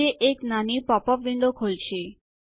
જે એક નાની પોપ અપ વિન્ડો ખોલશે